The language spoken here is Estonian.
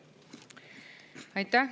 Aitäh!